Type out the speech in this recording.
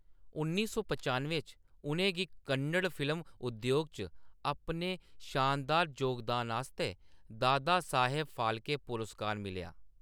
उन्नी सौ पचानुए च, उʼनेंगी कन्नड़ फिल्म उद्योग च अपने शानदार जोगदान आस्तै दादा साहेब फाल्के पुरस्कार मिलेआ।